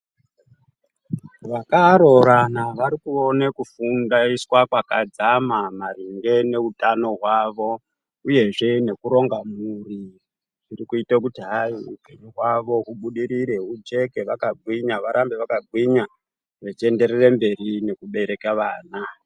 Vakaroorana vari kuone kufundaiswa kwakadzama maringe neutano hwavo uyezve nekuronga mhuri iri kuita kuti hai upenyu hwavo hwubudirire hwujeke vakagwinya varambe vakagwinya vechienderere mberi nekubereke vana.